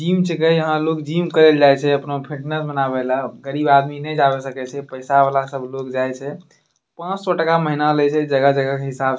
जिम छके यहाँ लोग जिम करे ला जाए छे अपना फिटनेस बनावे ला। गरीब आदमी नहीं जा सके छे पैसा वाला लोग सब जाए छे। पांच सौ टका महीना लेइ छे जगह-जगह के हिसाब --